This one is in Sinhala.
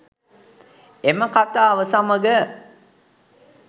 එම කතාව සමග